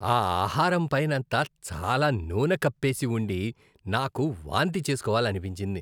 ఆ ఆహారం పైనంతా చాలా నూనె కప్పేసి ఉండి నాకు వాంతి చేసుకోవాలనిపించింది.